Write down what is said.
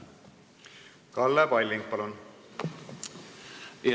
Kalle Palling, palun!